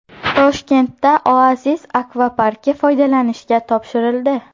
Toshkentda Oasis akvaparki foydalanishga topshirildi .